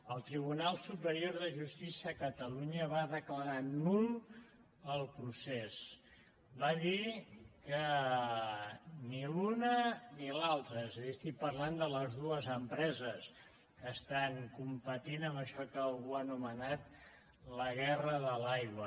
el tribunal superior de justícia a catalunya va declarar nul el procés va dir que ni l’una ni l’altra és a dir estic parlant de les dues empreses que estan competint en això que algú ha anomenat la guerra de l’aigua